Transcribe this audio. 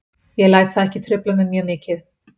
Ég læt það ekki trufla mig mjög mikið.